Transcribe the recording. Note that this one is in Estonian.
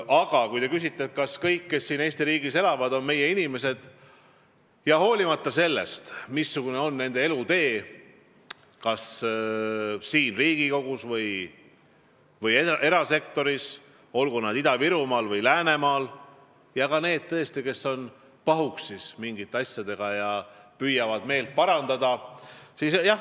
Aga kui te küsite, kas kõik, kes siin Eesti riigis elavad, on meie inimesed, siis jah on, olenemata sellest, missugune on kellegi elutee, kas tegutsetakse Riigikogus või erasektoris, olgu Ida-Virumaal või Läänemaal, ja ka need, kes on pahuksis mingite asjadega ja ehk püüavad meelt parandada.